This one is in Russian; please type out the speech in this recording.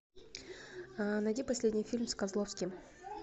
найди последний фильм с козловским